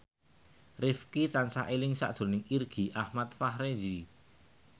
Rifqi tansah eling sakjroning Irgi Ahmad Fahrezi